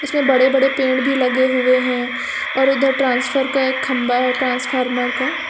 इसमें बड़े बड़े पेड़ भी लगे हुए हैं और उधर ट्रांसफर का एक खंभा है ट्रांसफार्मर का--